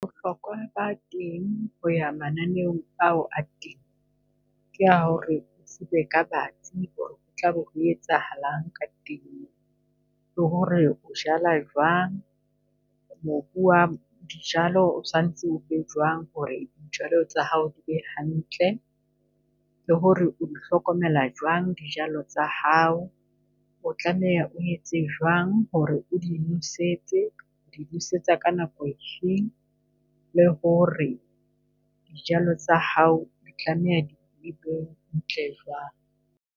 Bohlokwa ba teng ho ya mananeong ao a teng ke a hore o tsebe ka ho tlabe ho etsahalang ka . Le hore o jala jwang, mobu wa dijalo o sanetse o be jwang hore dijalo tsa hao di be hantle. Le hore o di hlokomela jwang dijalo tsa hao, o tlameha o etse jwang hore o di nosetse. O di nosetsa ka nako e feng, le hore dijalo tsa hao di tlameha di wang.